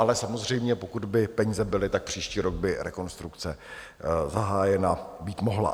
Ale samozřejmě pokud by peníze byly, tak příští rok by rekonstrukce zahájena být mohla.